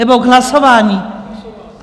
Nebo k hlasování?